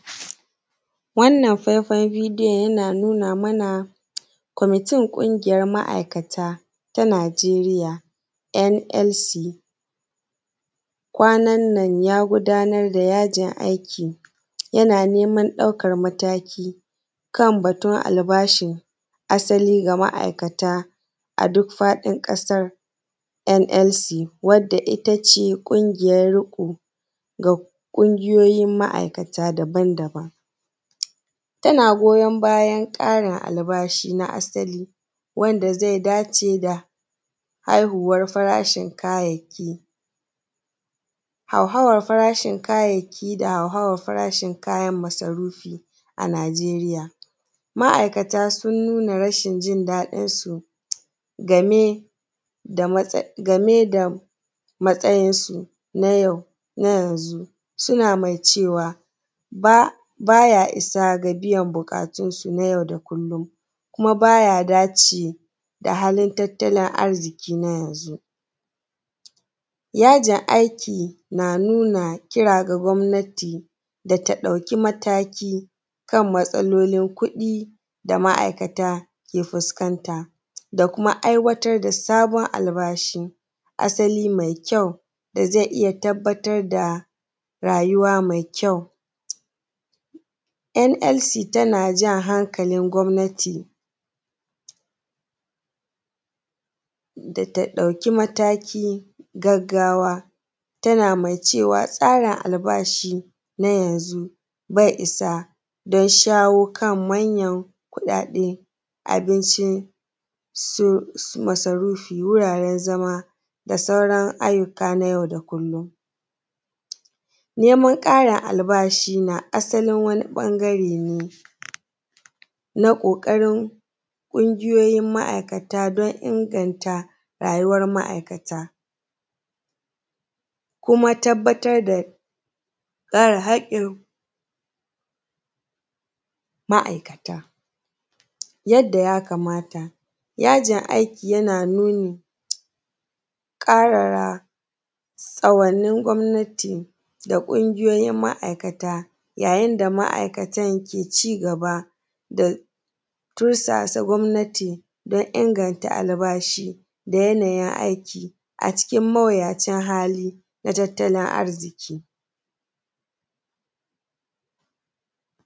Wannan faifen bideyon yana nuna mana kwamitin kungiyan ma’aikata na nijeriya NLC. Kwananan ya gudanar da yajin aiki yana neman ɗaukan mataki kan batun albashin asali ga ma’iakata a duk faɗin ƙasannan. NLC wanda ittace ƙungiyan riƙo ga Ƙungiyoyin ma’aikata daban daban tana goyon bayan ƙarin albashi wanda zai dace da haihuwan tarashin kayayyaki. Hauhawan farashin kayayyaki da hauhawan farashin kayayyakin masarufi a nigeriya, ma’aikata sun nuna rashinjin daɗin su game da matsayinsu na yanzu suna mai cewa baya issa ga biyan buƙatunsu na yau kuma baya dace da halin tattalin arziƙi na yanzu. Yajin aiki na nuna kira ga gwamnati da ɗauki mataki kan matsalolin kuɗi da ma’aikata ke fuskanta da kuma aiwatar da sabon albashi asali mai kyau da zai iyya tabbatar da rayuwa mai kyau. NLC tanajan hankalin gwamnati data ɗauki matakin gaggawa, tana mai cewa tsarin albashi na yanzu bai issa dan shawokan manyan kuɗaɗe, abincin masarufi, wuraren zama da sauran ayyuka na yau da kullum. Neman ƙarin albashima asali wani ɓagare ne naƙoƙarin kungiyoyin ma’aikata dan inganta rayuwar ma’aikata, kuma tabbatar da kare hakkin ma’aikata yadda ya kamata. Yajin aiki yana ƙara tsawonnin gwamnati, kun giyoyin ma’iakata yayin da ma’ikatan ke cigaba da tursasa gwamnati dan inganta albashi da yayayin aiki a cikin mawuyacin halli na tattalin arziƙi.